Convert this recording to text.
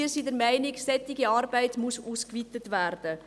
Wir sind der Meinung, solche Arbeit müsse ausgeweitet werden.